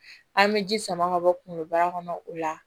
An bɛ ji sama ka bɔ kunkoloba kɔnɔ o la